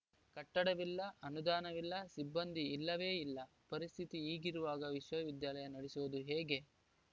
ಕಟ್ಟಡವಿಲ್ಲ ಅನುದಾನವಿಲ್ಲ ಸಿಬ್ಬಂದಿ ಇಲ್ಲವೇ ಇಲ್ಲ ಪರಿಸ್ಥಿತಿ ಹೀಗಿರುವಾಗ ವಿಶ್ವವಿದ್ಯಾಲಯ ನಡೆಸೋದು ಹೇಗೆ